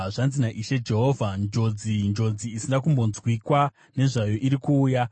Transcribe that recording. “Zvanzi naIshe Jehovha: Njodzi! Njodzi isina kumbonzwikwa nezvayo iri kuuya!